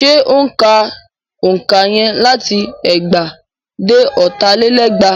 Ṣé ó ń ka òǹkà yẹn láti ẹgbàá dé ọ̀tà lé lẹ́gbàá?